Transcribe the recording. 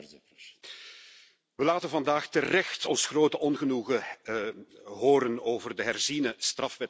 We laten vandaag terecht ons grote ongenoegen horen over de herziene strafwetgeving in Brunei.